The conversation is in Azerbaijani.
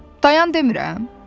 Dayan demirəm?